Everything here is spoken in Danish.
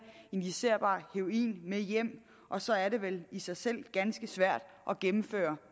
injicerbar heroin med hjem og så er det vel i sig selv ganske svært at gennemføre